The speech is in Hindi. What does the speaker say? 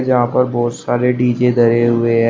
यहां पर बहोत सारे डी_जे धरे हुए हैं।